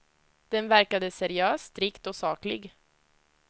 Den verkade seriös, strikt och saklig.